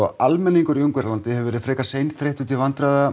almenningur í Ungverjalandi hefur verið frekar seinþreyttur til vandræða